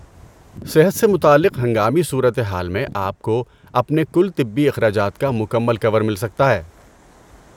صحت سے متعلق ہنگامی صورتحال میں آپ کو اپنے کل طبی اخراجات کا مکمل کور مل سکتا ہے۔